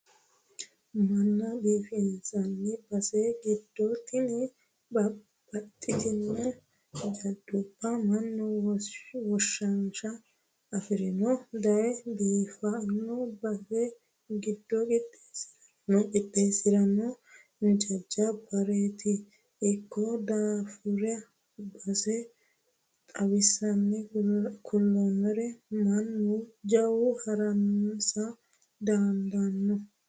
Manna biifinsanni base giddo tini baxxittano jajjabbu manni womaashsha afirinori daye biifano baseti giddoni qixeesinonnirino jajjabbareti ikkino daafira base xawinse kuliro mannu jawu harunsa dandaano.